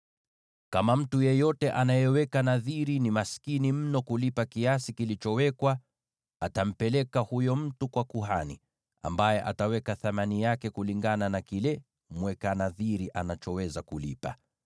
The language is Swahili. Kama mtu yeyote anayeweka nadhiri ni maskini mno kuweza kulipa kiasi kilichowekwa, atampeleka huyo mtu kwa kuhani, ambaye ataweka thamani yake kulingana na kile mweka nadhiri anachoweza kulipa.